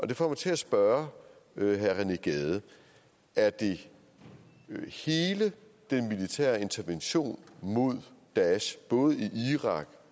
det får mig til at spørge herre rené gade er det hele den militære intervention mod daesh både i irak